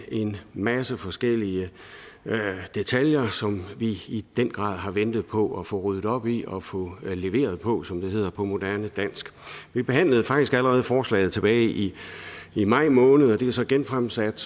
en masse forskellige detaljer som vi i den grad har ventet på at få ryddet op i og få leveret på som det hedder på moderne dansk vi behandlede faktisk allerede forslaget tilbage i i maj måned og det er så genfremsat